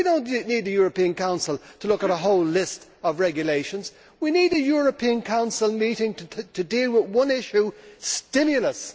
We do not need the European Council to look at a whole list of regulations. We need a European Council meeting to deal with one issue stimulus.